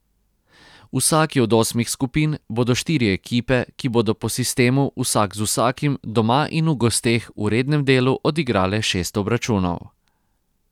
V vsaki od osmih skupin bodo štiri ekipe, ki bodo po sistemu vsak z vsakim doma in v gosteh v rednem delu odigrale šest obračunov.